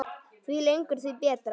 Því lengur því betra.